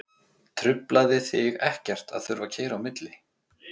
Truflaði þig ekkert að þurfa að keyra á milli?